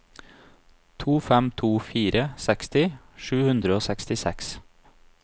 to fem to fire seksti sju hundre og sekstiseks